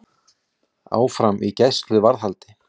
Áfram í gæsluvarðhaldi